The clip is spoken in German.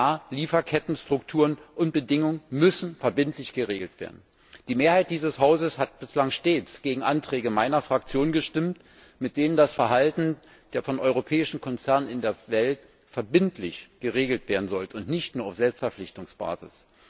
Ja, Lieferkettenstrukturen und bedingungen müssen verbindlich geregelt werden! Die Mehrheit dieses Hauses hat bislang stets gegen Anträge meiner Fraktion gestimmt, mit denen das Verhalten von europäischen Konzernen in der Welt verbindlich geregelt werden sollte und nicht nur auf Selbstverpflichtungsbasis.